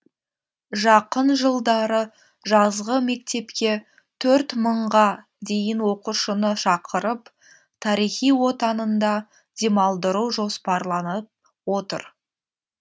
жақын жылдары жазғы мектепке төрт мыңға дейін оқушыны шақырып тарихи отанында демалдыру жоспарланып отыр